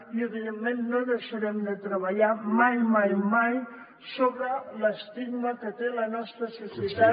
i evidentment no deixarem de treballar mai mai mai sobre l’estigma que té la nostra societat